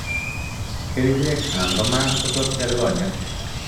kerichek anan ko maat ko tos pel konyek.